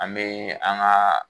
An be an ga